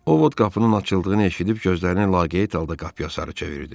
Ovod qapının açıldığını eşidib gözlərinin laqeyd halda qapıya sarı çevirdi.